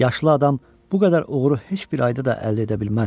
Yaşlı adam bu qədər uğuru heç bir ayda da əldə edə bilməzdi.